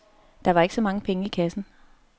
Der var ikke så mange penge i kassen.